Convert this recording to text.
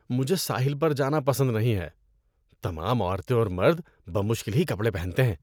مجھے ساحل پر جانا پسند نہیں ہے۔ تمام عورتیں اور مرد بمشکل ہی کپڑے پہنتے ہیں۔